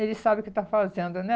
ele sabe o que está fazendo, né?